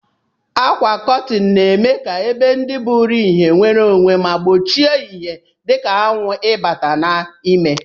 Akwa kọtin na eme ka ebe ndi buru ihe nwere onwe ma gbochie ihe dika anwu ibata na ime.